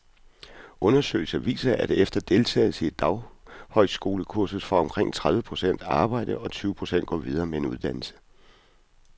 Undersøgelser viser, at efter deltagelse i et daghøjskolekursus får omkring tredive procent arbejde, og tyve procent går videre med en uddannelse.